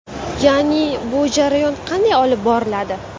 Ya’ni bu jarayon qanday olib boriladi?